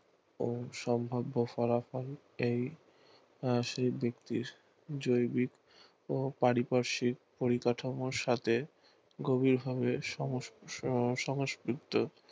ও সম্ভাব্য হবার ফলে এই সাি ব্যাক্তির জৈবিক ও পারিপার্শিক পরিকাঠামোর সাথে গভীর ভাবে সমসকৃত